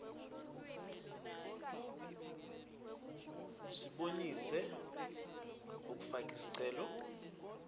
sibonise umfakisicelo ngekubhala